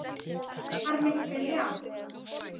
Svar mitt er já.